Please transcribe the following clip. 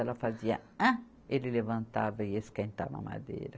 Ela fazia ah, ele levantava e ia esquentar a mamadeira.